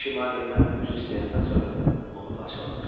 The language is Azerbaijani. Dişi Marlindən üzr istəyəndən sonra onu parçaladıq.